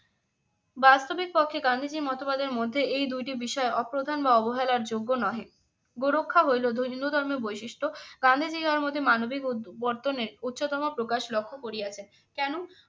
বাস্তবিক কক্ষে গান্ধীজীর মতবাদের মধ্যে এই দুইটি বিষয় অপ্রধান বা অবহেলার যোগ্য নহে। গো রক্ষা হইলো হিন্দু ধর্মের বৈশিষ্ট্য। গান্ধীজী মানবিক পত্তনে উচ্চতম প্রকাশ লক্ষ্য করিয়াছেন। কেন?